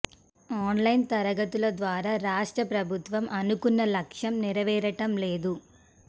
online తరగతుల ద్వారా రాష్ట్ర ప్రభుత్వం అనుకున్న లక్ష్యం నెరవేరటం లేదు